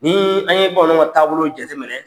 Ni an ye bamananw ka taabolo jate minɛ